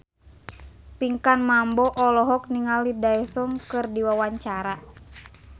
Pinkan Mambo olohok ningali Daesung keur diwawancara